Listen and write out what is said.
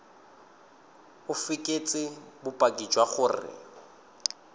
o fekese bopaki jwa gore